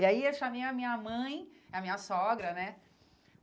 E aí eu chamei a minha mãe, a minha sogra, né?